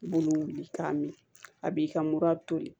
I b'olu wuli k'a min a b'i ka mura tobi